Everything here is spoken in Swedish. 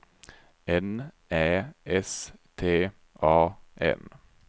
N Ä S T A N